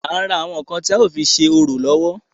À ń ra àwọn ǹkan tí a ó fi ṣe orò lọ́wọ́.